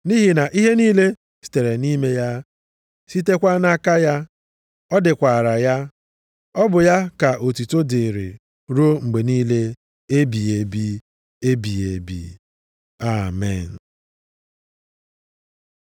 Nʼihi na ihe niile sitere nʼime ya, sitekwa nʼaka ya, dịkwara ya. Ọ bụ ya ka otuto dịrị ruo mgbe niile ebighị ebi! Amen.